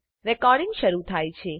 recording શરુ થાય છે